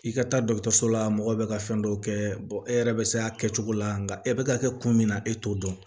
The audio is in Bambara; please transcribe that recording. I ka taa la mɔgɔ bɛ ka fɛn dɔ kɛ e yɛrɛ bɛ se a kɛcogo la nka e bɛ ka kɛ kun min na e t'o dɔn